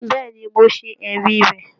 Bẹ́ẹ̀ ni, mo ṣẹ̀rí rẹ̀